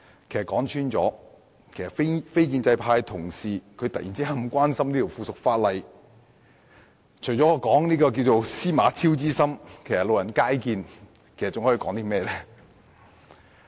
其實，說穿了，非建制派同事突然如此關心這項附屬法例，除了說是"司馬昭之心，路人皆見"外，我還可以說甚麼？